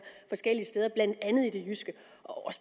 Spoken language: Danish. forskellige steder blandt andet i det jyske